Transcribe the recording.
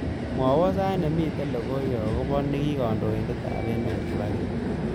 Mwawon sait nemiten logoywek agoba negikandoindetab emet kibaki